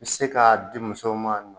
I bɛ se k'a di musow ma